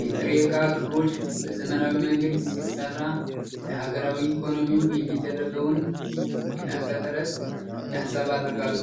የጥሬ እቃ ክሮች በዘመናዊ መንገድ ሲሰራ፣ ለሀገራዊ ኢኮኖሚው የሚደረገውን የላቀ ጥረት ያንጸባርቃል።